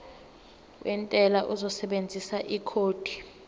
wentela uzosebenzisa ikhodi